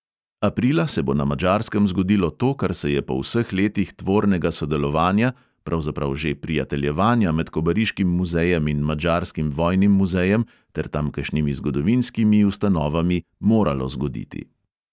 Aprila se bo na madžarskem zgodilo to, kar se je po vseh letih tvornega sodelovanja, pravzaprav že prijateljevanja med kobariškim muzejem in madžarskim vojnim muzejem ter tamkajšnjimi zgodovinskimi ustanovami moralo zgoditi.